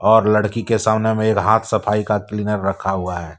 और लड़की के सामने में एक हाथ सफाई का क्लीनर रखा हुआ है।